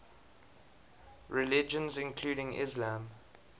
religions including islam